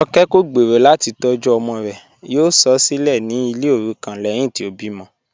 Jọ̀kẹ̀ kọ̀ gbẹ́rọ̀ láti tọ̀jú ọmọ rẹ̀, yóò sọ̀ ọ́ silẹ̀ ní ilẹ̀ orúkọ̀n lẹ́hìn tí o bí mọ̀.